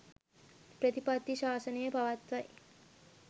ප්‍රතිපත්ති ශාසනය පවතියි.